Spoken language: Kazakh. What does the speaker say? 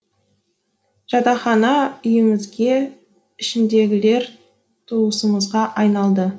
жатақхана үйімізге ішіндегілер туысымызға айналды